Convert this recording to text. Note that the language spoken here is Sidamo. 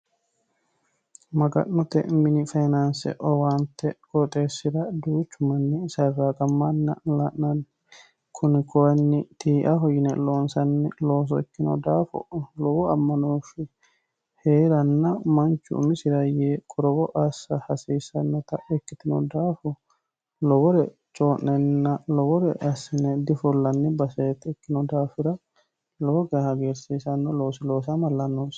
Maga'note mini faayyinanse qooxxeesira duuchu duuchu manni saraqamanna la'nanni kunino tii'aho yine loonsanni loosso ikkino daafira lowo amanoshi heeranna manchu umisi yee qorowo assa hasiisanotta ikkitino daafo lowore coyi'nanni lowore assine difullanni baseeti ikkino daafira lowo geeshsha hagiirsiisano loosi loossamalla noosi.